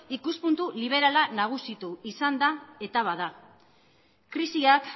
ikuspuntu liberala nagusitu izan da eta bada krisiak